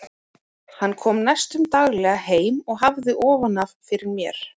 Hann kom næstum daglega heim og hafði ofan af fyrir mér.